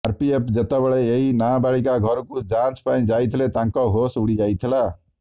RPF ଯେତେବେଳେ ଏହି ନବାଳିକା ଘରକୁ ଯାଞ୍ଚ ପାଇଁ ଯାଇଥିଲେ ତାଙ୍କ ହୋସ ଉଡି ଯାଇଥିଲା